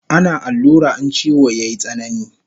Ana allura in chiwo yayi tsanani